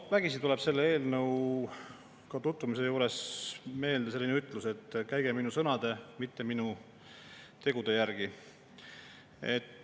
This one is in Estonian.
Vägisi tuleb selle eelnõuga tutvumise juures meelde selline ütlus, et käige minu sõnade, mitte minu tegude järgi.